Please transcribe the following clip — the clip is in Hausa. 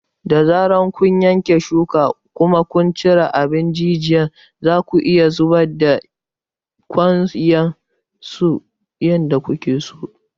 Da zarar kun yanke shuka kuma kun cire abin jijiyar, zaku iya zubar da kayan kwanson ta yadda kuke so.